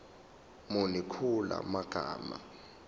muni kula magama